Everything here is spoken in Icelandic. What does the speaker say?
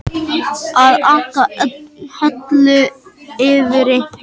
Að aka höllu fyrir einhverjum